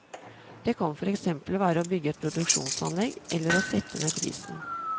Det kan for eksempel være å bygge et nytt produksjonsanlegg, eller å sette ned prisen.